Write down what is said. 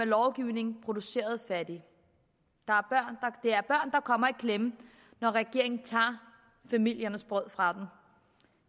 lovgivning produceret fattige det er børn som kommer i klemme når regeringen tager familiernes brød fra dem